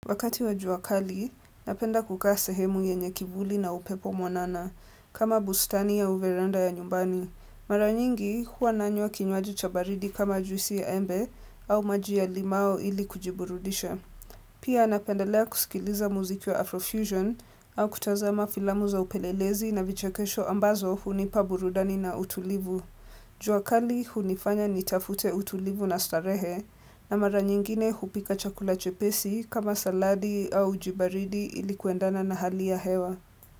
Wakati wa juakali, napenda kukaa sehemu yenye kivuli na upepo mwanana, kama bustani au veranda ya nyumbani. Mara nyingi huwa nanywa kinywaji cha baridi kama juisi ya embe au maji ya limau ili kujiburudisha. Pia napendelea kusikiliza muziki wa Afrofusion au kutazama filamu za upelelezi na vichekesho ambazo hunipa burudani na utulivu. Jua kali hunifanya nitafute utulivu na starehe na mara nyingine hupika chakula chepesi kama saladi au uji baridi ilikuendana na hali ya hewa.